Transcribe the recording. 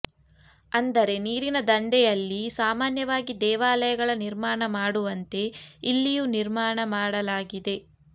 ಅಂದರೆ ನೀರಿನ ದಂಡೆಯಲ್ಲಿ ಸಾಮಾನ್ಯವಾಗಿ ದೇವಾಲಯಗಳ ನಿರ್ಮಾಣ ಮಾಡುವಂತೆ ಇಲ್ಲಿಯು ನಿರ್ಮಾಣ ಮಾಡಲಾಗಿದೆ